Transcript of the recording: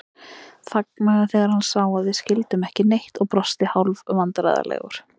Þagnaði þegar hann sá að við skildum ekki neitt og brosti hálfvandræðalegur.